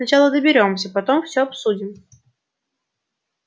сначала доберёмся потом все обсудим